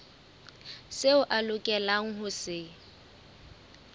seo a lokelang ho se